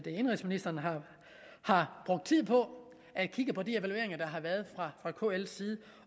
indenrigsministeren har brugt tid på at kigge på de evalueringer der har været fra kls side